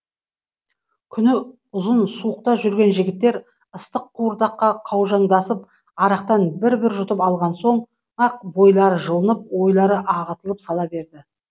күні ұзын суықта жүрген жігіттер ыстық қуырдаққа қаужаңдасып арақтан бір бір жұтып алған соң ақ бойлары жылынып ойлары ағытылып сала берді